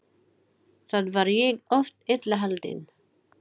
Þá var ég oft illa haldinn.